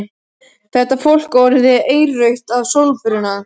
Þetta fólk var orðið eirrautt af sólbruna.